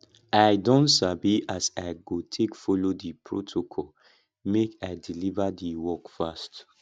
i don sabi as i go take folo di protocol make i deliver di work fast